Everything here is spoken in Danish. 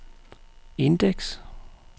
indeks